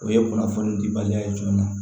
O ye kunnafoni dibaliya ye jumɛn ma